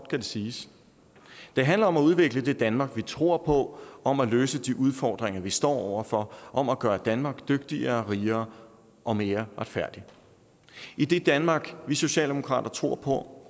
det siges det handler om at udvikle det danmark vi tror på om at løse de udfordringer vi står over for om at gøre danmark dygtigere rigere og mere retfærdigt i det danmark vi socialdemokrater tror på